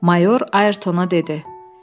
Mayor Ayertona dedi: